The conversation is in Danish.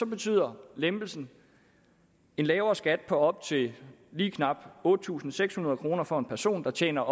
betyder lempelsen en lavere skat på op til lige knap otte tusind seks hundrede kroner for en person der tjener